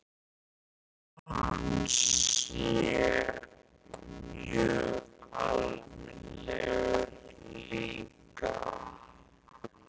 Ég held að hann sé mjög almennilegur líka.